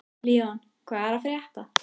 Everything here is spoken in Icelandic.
Leon, hvað er að frétta?